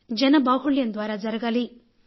జన బాహుళ్యం ద్వారా జరగాలి